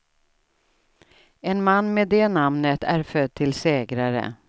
En man med det namnet är född till segrare.